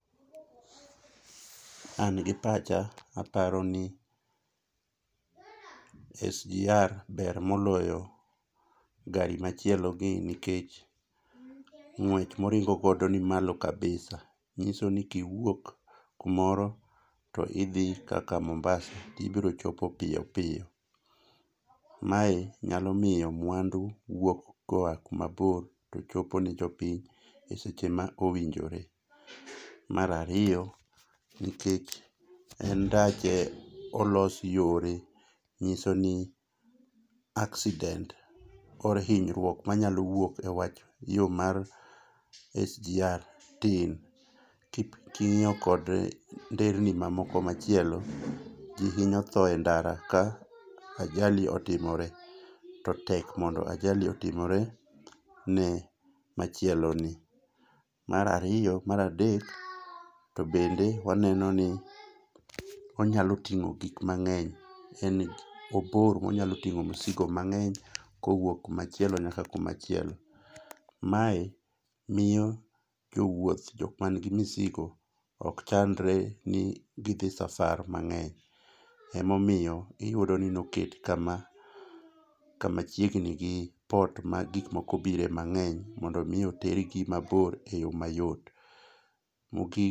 An gi pacha aparo ni SGR ber moloyo gari machielogi nikech ng'wech moringo godo nimalo kabisa ng'iso ni kiwuok kumoro to idhi kaka Mombasa ibrochopo piyo piyo. Mae nyalo miyo mwandu wuok koa kumabor to chopo ne jopiny e seche ma owinjore. Mar ariyo, nikech en ndache olos yore, ng'iso ni accident or hinyruok manyalo wuok e wach yo mar SGR tin king'iyo kod ndereni mamoko machielo ji hinyo tho e ndara ka ajali otimore to tek mondo ajali otimore ne machieloni. Mar ariyo mar adek to bende waneno ni onyalo ting'o gik mang'eny en obor monyalo ting'o msigo mang'eny kowuok kumachielo nyaka kumachielo. Mae miyo jowuoth jokmanigi misigo ok chandre ni gidhi safar mang'eny, emomiyo iyudo ni noket kama chiegni gi port ma gikmoko bire mang'eny mondo omi otergi mabor e yo mayot. Mogik